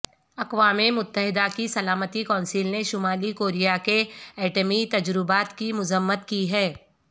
اقوام متحدہ کی سلامتی کونسل نے شمالی کوریا کے ایٹمی تجربات کی مذمت کی ہے